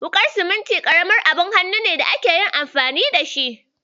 Wuƙar siminti ƙaramin abun aikin hannu ne da ake yin filasta da shi.